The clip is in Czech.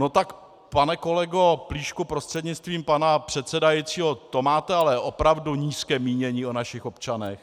No tak, pane kolego Plíšku prostřednictvím pana předsedajícího, to máte ale opravdu nízké mínění o našich občanech.